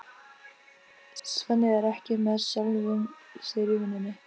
Svenni er ekki með sjálfum sér í vinnunni.